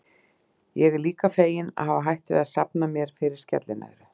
Ég er líka feginn að hafa hætt við að safna mér fyrir skellinöðru.